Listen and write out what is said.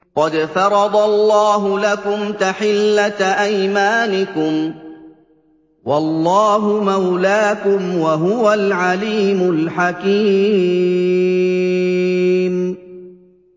قَدْ فَرَضَ اللَّهُ لَكُمْ تَحِلَّةَ أَيْمَانِكُمْ ۚ وَاللَّهُ مَوْلَاكُمْ ۖ وَهُوَ الْعَلِيمُ الْحَكِيمُ